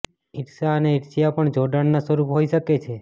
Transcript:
ઈર્ષ્યા અને ઈર્ષ્યા પણ જોડાણના સ્વરૂપ હોઈ શકે છે